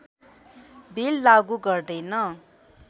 bill लागू गर्दैन